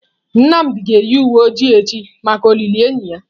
Nnamdi ga-eyi uwe ojii echi maka olili enyi ya.